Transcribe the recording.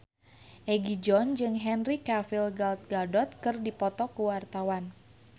Egi John jeung Henry Cavill Gal Gadot keur dipoto ku wartawan